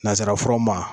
Nanzara furaw ma